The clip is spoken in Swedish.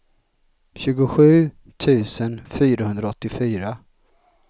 tjugosju tusen fyrahundraåttiofyra